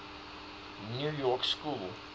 new york school